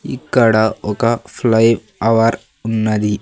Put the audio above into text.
ఇక్కడ ఒక flyover ఉన్నది.